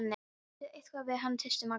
Segðu eitthvað við hann tísti Magga.